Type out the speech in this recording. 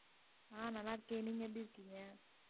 நான் நல்லா இருக்கேன் நீங்க எப்படி இருக்கீங்க?